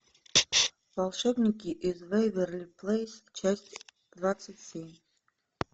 волшебники из вэйверли плэйс часть двадцать семь